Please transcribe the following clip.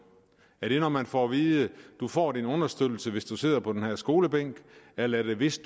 er det når man får at vide du får din understøttelse hvis du sidder på den her skolebænk eller er det hvis